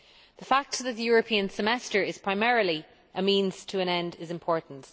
The fact that the European Semester is primarily a means to an end is important.